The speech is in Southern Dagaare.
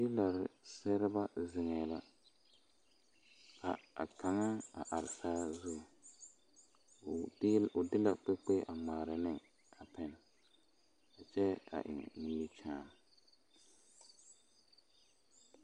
Teela seɛrebɛ zeŋɛɛ la a kaŋa a are saazu o de la kpikpi a ŋmaara ne a pɛne kyɛ eŋ nimikyaani.